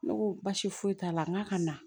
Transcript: Ne ko baasi foyi t'a la n k'a ka na